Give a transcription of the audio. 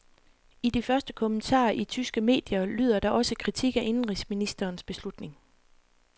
I de første kommentarer i tyske medier lyder der også kritik af indenrigsministerens beslutning.